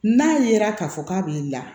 N'a yera k'a fɔ k'a b'i la